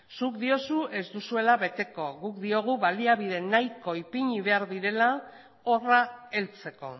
zuk diozu ez duzuela beteko guk diogu baliabide nahiko ipini behar direla horra heltzeko